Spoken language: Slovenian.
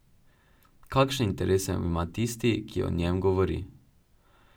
Kakšne interese ima tisti, ki o njem govori?